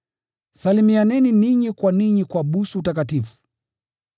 Salimianeni ninyi kwa ninyi kwa busu takatifu.